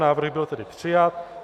Návrh byl tedy přijat.